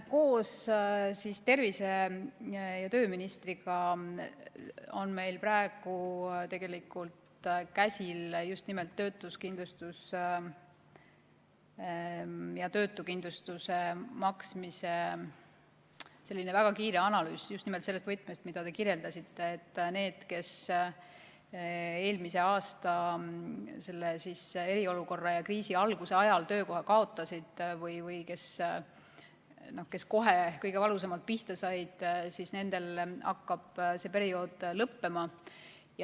Koos tervise- ja tööministriga on meil praegu käsil just nimelt töötuskindlustus ja maksmise väga kiire analüüs, just nimelt selles võtmes, mida te kirjeldasite, et nendel, kes eelmise aasta eriolukorra ajal ja kriisi alguses töökoha kaotasid või kes kohe kõige valusamalt pihta said, hakkab see periood lõppema.